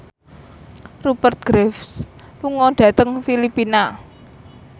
Rupert Graves lunga dhateng Filipina